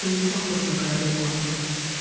ты не похож на королеву англии